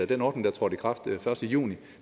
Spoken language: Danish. den ordning der trådte i kraft den første juni